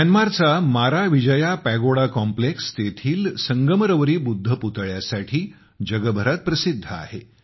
म्यानमारचा माराविजया pagoda complex तेथील संगमरवरी बुद्ध पुतळ्यासाठी जगभरात प्रसिद्ध आहे